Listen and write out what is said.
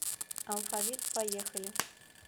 алфавит поехали